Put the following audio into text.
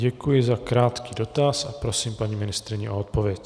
Děkuji za krátký dotaz a prosím paní ministryni o odpověď.